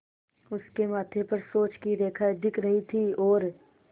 उसके माथे पर सोच की रेखाएँ दिख रही थीं और